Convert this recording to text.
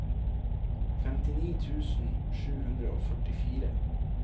femtini tusen sju hundre og førtifire